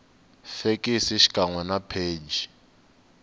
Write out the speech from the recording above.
fekisi xikan we na pheji